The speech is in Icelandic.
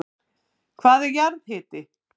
Hvað er jarðhiti?